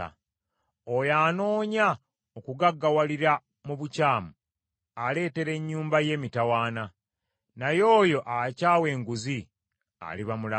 Oyo anoonya okugaggawalira mu bukyamu aleetera ennyumba ye emitawaana, naye oyo akyawa enguzi aliba mulamu.